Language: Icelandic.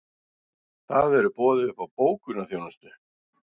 Það verður boðið upp á bókunarþjónustu